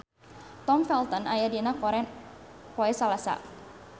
Tom Felton aya dina koran poe Salasa